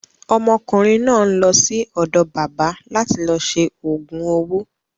Ọmọkùnrin náà ń lọ sí ọ̀dọ̀ bábà láti lọ ṣe òògùn owó.